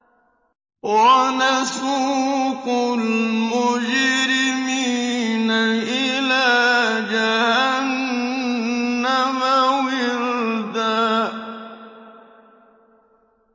وَنَسُوقُ الْمُجْرِمِينَ إِلَىٰ جَهَنَّمَ وِرْدًا